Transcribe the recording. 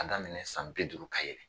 Ka daminɛ san bi duuru ka yɛlɛn